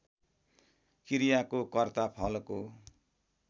क्रियाको कर्ता फलको